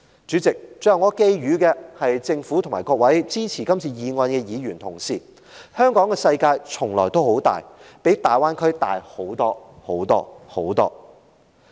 主席，最後我寄語政府和各位支持原議案的議員：香港的世界從來都很大，比大灣區大很多很多。